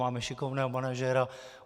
Máme šikovného manažera.